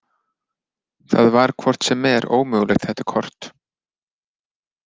Það var hvort sem er ómögulegt þetta kort.